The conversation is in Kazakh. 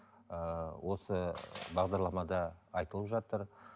ыыы осы бағдарламада айтылып жатыр